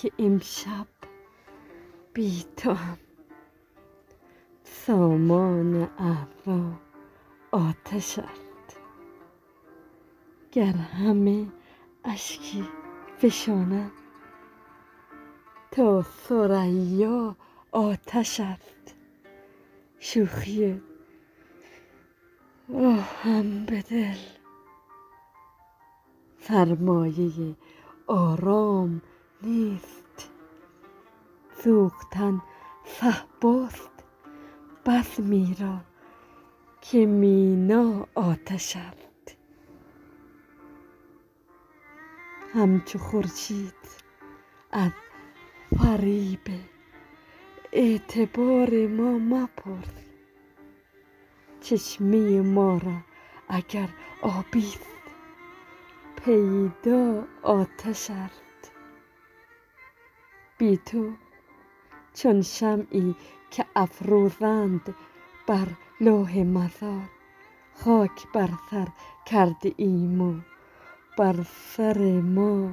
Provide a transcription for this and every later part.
بسکه امشب بی توام سامان اعضا آتش است گر همه اشکی فشانم تا ثریا آتش است شوخی آهم به دل سرمایه آرام نیست سوختن صهباست بزمی راکه مینا آتش است همچو خورشید از فریب اعتبارما مپرس چشمه ما را اگر آبی ست پیدا آتش است بی تو چون شمعی که افروزند بر لوح مزار خاک بر سرکرده ایم و بر سر ما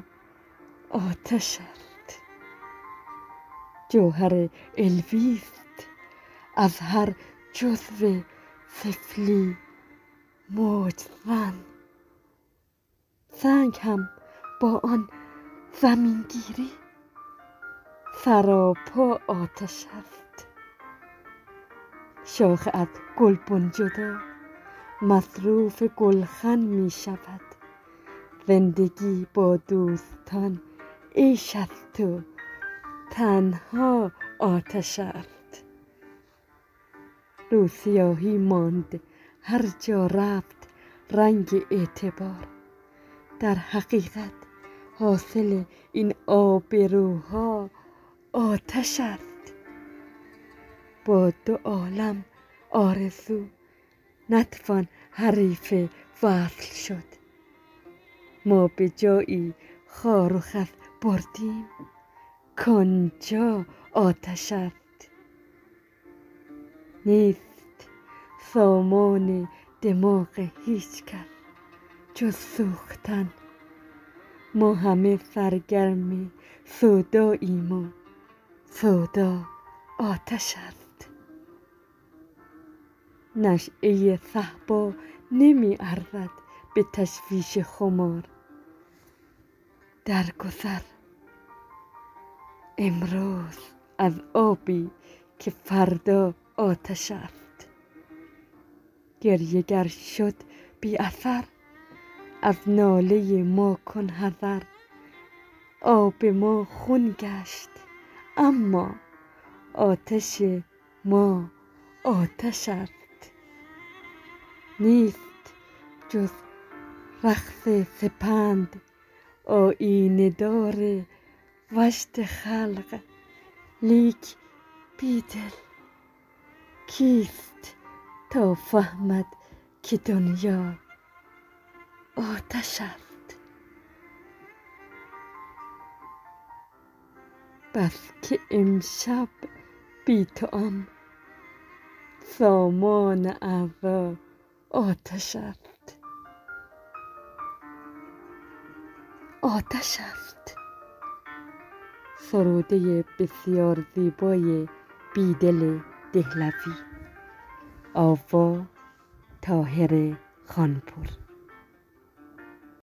آتش است جوهر علوی ست از هر جزوسفلی موج زن سنگ هم با آن زمینگیری سراپا آتش است شاخ ازگلبن جدا مصروف گلخن می شود زندگی با دوستان عیش است و تنهاآتش است روسیاهی ماند هرجا رفت رنگ اعتبار درحقیقت حاصل این آبروها آتش است با دو عالم آرزو نتوان حریف وصل شد ما به جایی خار وخس بردیم کانجا آتش است نیست سامان دماغ هیچکس جز سوختن ما همه سرگرم سوداییم و سودا آتش است نشیه صهبا نمی ارزد به تشویش خمار درگذر امروز از آبی که فردا آتش است گریه گر شد بی اثر از ناله ما کن حذر آب ما خون گشت اما آتش ما آتش است نیست جز رقص سپند آیینه دار وجد خلق لیک بیدل کیست تا فهمدکه دنیا آتش است